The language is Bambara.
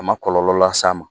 A ma kɔlɔlɔ las'a ma